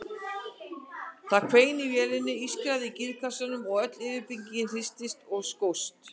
Það hvein í vélinni, ískraði í gírkassanum og öll yfirbyggingin hristist og skókst.